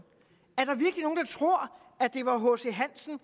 er det var hc hansen